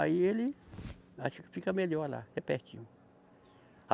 Aí ele, acho que fica melhor lá, é pertinho.